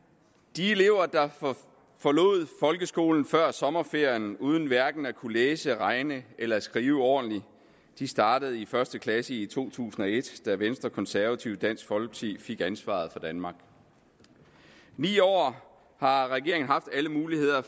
de elever der forlod folkeskolen før sommerferien uden hverken at kunne læse regne eller skrive ordentligt startede i første klasse i to tusind og et da venstre konservative og dansk folkeparti fik ansvaret for danmark i ni år har regeringen haft alle muligheder